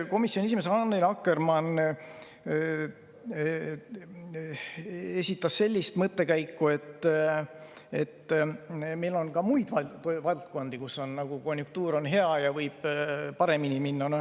Komisjoni esimees Annely Akkermann esitas sellise mõttekäigu, et meil on ka muid valdkondi, kus on hea konjunktuur ja kus võib olukord paremaks minna.